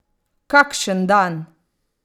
Kakšen dan!